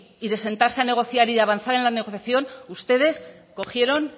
y de sentarse a negociar y de avanzar en la negociación ustedes cogieron